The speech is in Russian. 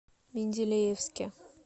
менделеевске